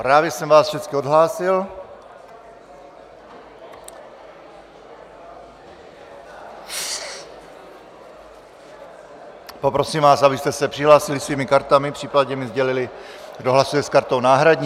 Právě jsem vás všechny odhlásil, poprosím vás, abyste se přihlásili svými kartami, případně mi sdělili, kdo hlasuje s kartou náhradní.